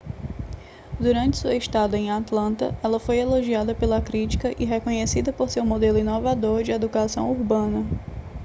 durante sua estada em atlanta ela foi elogiada pela crítica e reconhecida por seu modelo inovador de educação urbana